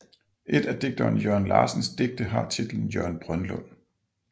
Et af digteren Thøger Larsens digte har titlen Jørgen Brønlund